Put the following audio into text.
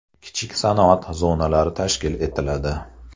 Kichik sanoat zonalari tashkil etiladi.